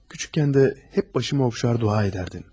Kiçikkən də həmişə başımı oxşar dua edərdin.